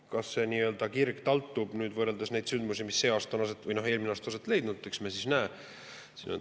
Kas see nii-öelda kirg taltub, neid sündmusi, mis see aasta või eelmisel aastal on aset leidnud, eks me näe.